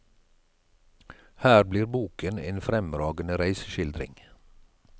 Her blir boken en fremragende reiseskildring.